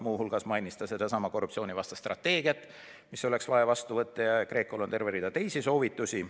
Muu hulgas mainis ta sedasama korruptsioonivastast strateegiat, mis on vaja vastu võtta, ja GRECO-l on terve rida teisigi soovitusi.